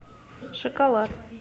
шоколад